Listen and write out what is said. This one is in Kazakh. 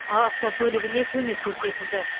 автокөлігіне көмек көрсетілді